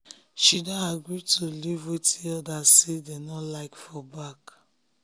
she don agree to leave wetin ordas say dem nor like for back